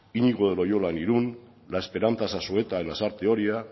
iñigo de loyola en irún la esperanza zazueta en lasarte oria